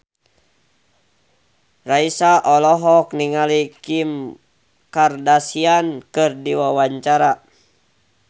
Raisa olohok ningali Kim Kardashian keur diwawancara